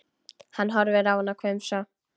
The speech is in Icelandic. Hann horfir á hana hvumsa.